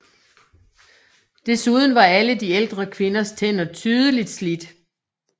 Desuden var alle de ældre kvinders tænder tydeligt slidt